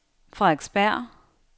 Frederiksberg